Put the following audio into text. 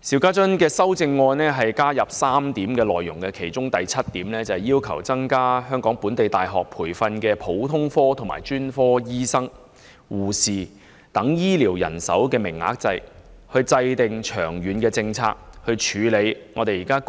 邵議員的修正案就原議案加入3點內容：經他修正的修正案第七點，要求"就增加本地大學培訓普通科及專科醫生、護士、專職醫療人員等醫療人手的名額制訂長遠政策，以處理現時